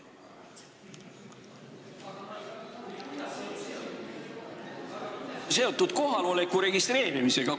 Kuidas see on seotud kohaloleku registreerimisega?